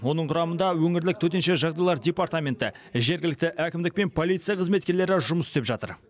оның құрамында өңірлік төтенше жағдайлар департаменті жергілікті әкімдік пен полиция қызметкерлері жұмыс істеп жатыр